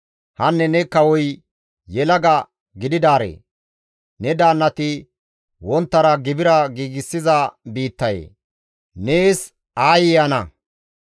Hanne ne kawoy yelaga gididaaree! Ne daannati wonttara gibira giigsiza biittayee nees aayye ana!